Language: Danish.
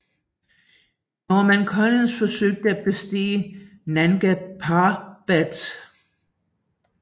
Norman Collie forsøgte at bestige Nanga Parbat